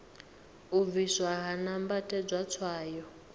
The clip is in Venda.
u bvisiwa ha nambatedzwa tswayo